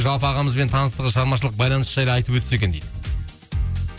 жалпы ағамызбен таныстығы шығармашылық байланысы жайлы айтып өтсе екен дейді